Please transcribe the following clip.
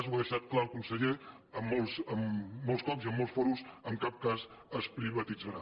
ho ha deixat clar el conseller molts cops i en molts fò·rums en cap cas es privatitzarà